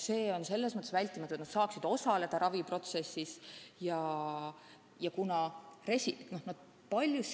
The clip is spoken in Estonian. See on hädavajalik selleks, et nad saaksid raviprotsessis osaleda.